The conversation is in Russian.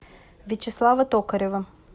вячеслава токарева